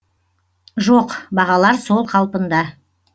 жоқ бағалар сол қалпында